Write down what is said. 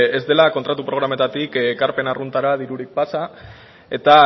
ez dela kontratu programatatik ekarpen arruntera dirurik pasa eta